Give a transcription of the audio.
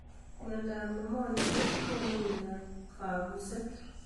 mianindo ab nimonia ko konu uindo ab kambuset